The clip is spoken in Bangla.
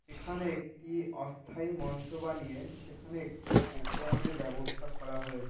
এখানে একটি অস্থায়ী মঞ্চ বানিয়ে সেখানে একটি প্রোগ্রাম -এর ব্যবস্থা করা হয়েছে।